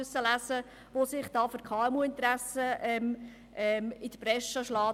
Diese macht sich für die Interessen der KMU stark.